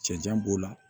Cɛncɛn b'o la